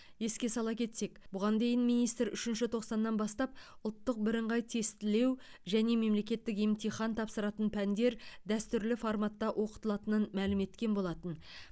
еске сала кетсек бұған дейін министр үшінші тоқсаннан бастап ұлттық бірыңғай тестілеу және мемлекеттік емтихан тапсыратын пәндер дәстүрлі форматта оқытылатынын мәлім еткен болатын